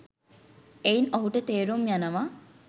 එයින් ඔහුට තේරුම් යනවා